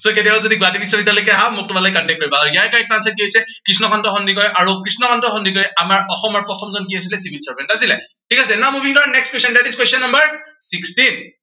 so কেতিয়াবা যদি গুৱাহাটী বিশ্ববিদ্য়ালয়লৈকে আহা, মোক তোমালোকে contact কৰিবা। আৰু ইয়াৰে correct answer টো হৈছে কৃষ্ণকান্ত সন্দিকৈ। আৰু কৃষ্ণকান্ত সন্দিকৈ আমাৰ অসমৰ প্ৰথমজন কি আছিলে, civil servant আছিলে, ঠিক আছে। now moving to our next question, that is question number six